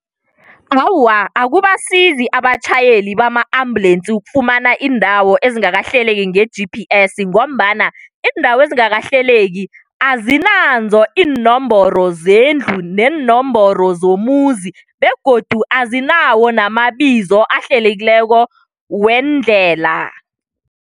Awa, akubasizi abatjhayeli bama-ambulensi ukufumana iindawo ezingakahleleki nge-G_P_S ngombana iindawo ezingakahlaleki azinanzo iinomboro zendlu neenomboro zomuzi begodu azinawo namabizo ahlelekileko weendlela.